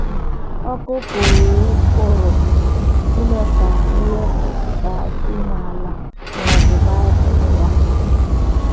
Ọkụ pụrụ pụrụ ime ka ihe pupụtaghachi n’ala ma ọ bụ bibie ya.